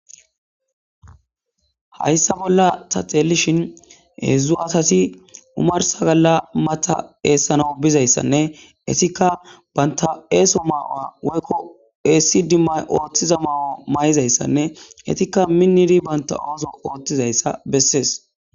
Hayssa bolla taxelishin hezzu asatti omarssa galla matha essanaw bizzayssanne ettikka bantta esso mayuwa mayizayssanne ettikka miniddi bantta ossuwa othizayssa besses.